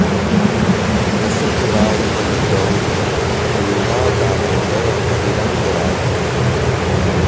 रसिक रायमल गौर देवा दामोदर हरि रँग राचा